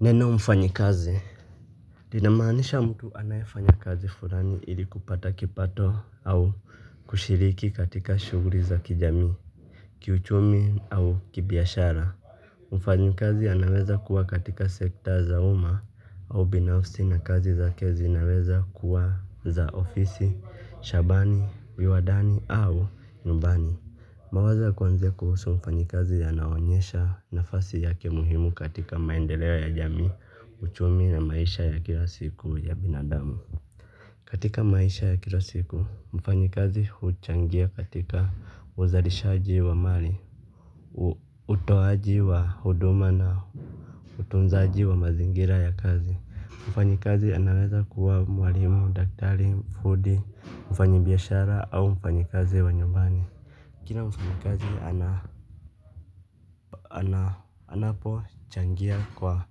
Neno mfanyikazi? Linamaanisha mtu anayefanya kazi fulani ili kupata kipato au kushiriki katika shughuli za kijamii, kiuchumi au kibiashara. Mfanyikazi anaweza kuwa katika sekta za uma au binafsi na kazi zake zinaweza kuwa za ofisi, shabani, viwandani au nyumbani. Mawazo ya kuanzia kuhusu mfanyikazi yanaonyesha nafasi yake muhimu katika maendeleo ya jamii, uchumi na maisha ya kila siku ya binadamu. Katika maisha ya kila siku, mfanyikazi huchangia katika uzalishaji wa mali, utoaji wa huduma na utunzaji wa mazingira ya kazi. Mfanyikazi anaweza kuwa mwalimu daktari, fundi, mfanyibiashara au mfanyikazi wa nyumbani. Kila mfanyikazi anapochangia kwa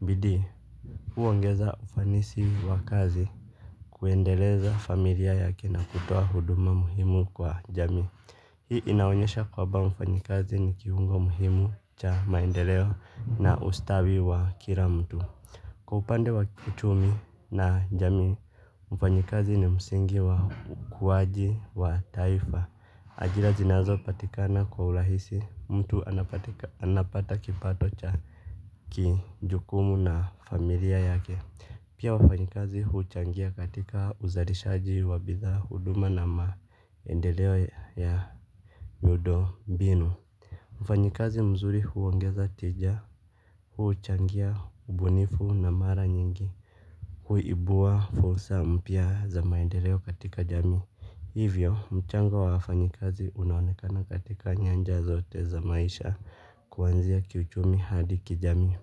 bidii huongeza ufanisi wa kazi kuendeleza familia yake na kutoa huduma muhimu kwa jamii. Hii inaonyesha kwamba mfanyikazi ni kiungo muhimu cha maendeleo na ustawi wa kila mtu. Kwa upande wa kiuchumi na jamii, mfanyikazi ni msingi wa ukuaji wa taifa. Ajira zinazopatikana kwa urahisi mtu anapata kipato cha kijukumu na familia yake. Pia wafanyikazi huchangia katika uzalishaji wa bidhaa huduma na maendeleo ya miundo mbinu. Mfanyikazi mzuri huongeza tija huchangia ubunifu na mara nyingi huibua fursa mpya za maendeleo katika jamii. Hivyo, mchango wa wafanyikazi unaonekana katika nyanja zote za maisha kuanzia kiuchumi hadi kijamii.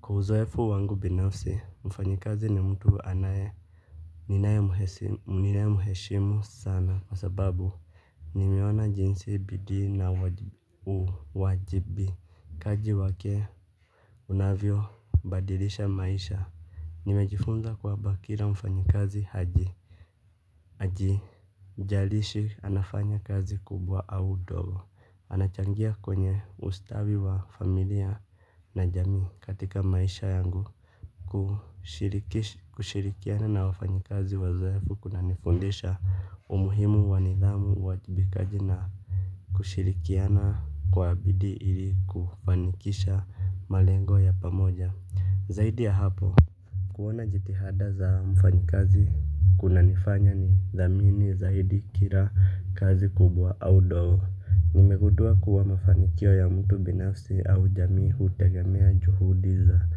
Kwa uzoefu wangu binafsi, mfanyikazi ni mtu anaye. Ninayemheshimu sana kwa sababu, nimeona jinsi bidii na uwajibi. Kaji wake unavyobadilisha maisha. Nimejifunza kwamba kila mfanyikazi haji. Haijalishi anafanya kazi kubwa au ndogo. Anachangia kwenye ustawi wa familia na jamii katika maisha yangu. Kushirikiana na wafanyikazi wazoefu kunanifundisha umuhimu wa nidhamu uwajibikaji na kushirikiana kwa bidii ili kufanikisha malengo ya pamoja. Zaidi ya hapo kuona jitihada za mfanyikazi kunanifanya nidhamini zaidi kila kazi kubwa au ndogo. Nimegundua kuwa mafanikio ya mtu binafsi au jamii hutegemea juhudi za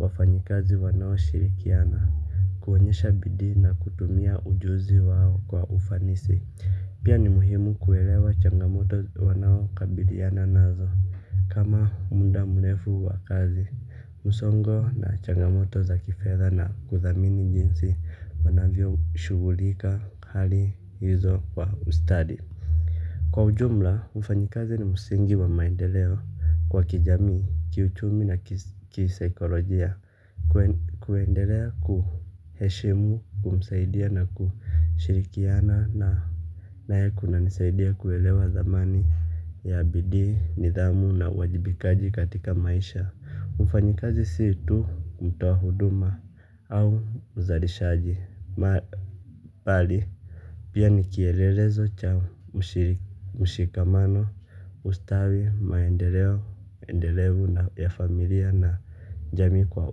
wafanyikazi wanaoshirikiana. Kuonyesha bidii na kutumia ujuzi wao kwa ufanisi. Pia ni muhimu kuelewa changamoto wanaokabiliana nazo kama muda mrefu wa kazi. Msongo na changamoto za kifedha na kudhamini jinsi wanavyoshughulikia hali hizo kwa ustadi. Kwa ujumla, mfanyikazi ni msingi wa maendeleo kwa kijamii, kiuchumi na kisaikolojia kuendelea kumheshimu kumsaidia na kushirikiana naye kunanisaidia kuelewa thamani ya bidii nidhamu na uwajibikaji katika maisha. Mfanyikazi si tu mtu wa huduma au uzalishaji. Pia ni kielelezo cha mshikamano ustawi maendeleo na ya familia na jamii kwa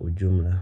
ujumla.